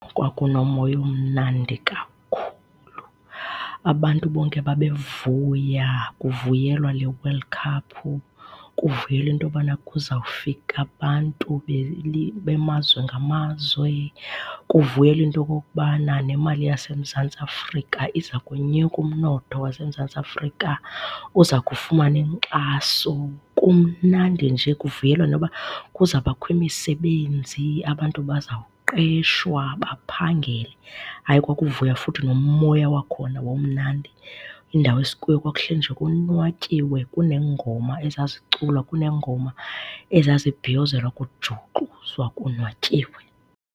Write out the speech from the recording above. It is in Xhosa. Kwakunomoya omnandi kakhulu, abantu bonke babevuya kuvuyelwa le World Cup, kuvuyelwa into yobana kuzawufika abantu bemazwe ngamazwe, kuvuyelwa into okokubana nemali yaseMzantsi Afrika iza konyuka, umnotho waseMzantsi Afrika uza kufumana inkxaso. Kumnandi nje, kuvuyelwa noba kuzawubakho imisebenzi, abantu bazawuqeshwa, baphangele. Hayi, kwakuvuywa futhi nomoya wakhona wawumnandi, indawo esikuyo kwakuhlelwe nje konwatyiwe kuneengoma ezaziculwa, kuneengoma ezazibhiyozelwa, kujuxuzwa konwatyiwe.